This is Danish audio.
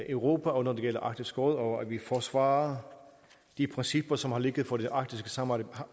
europa og når det gælder arktisk råd og at vi forsvarer de principper som har ligget for det arktiske samarbejde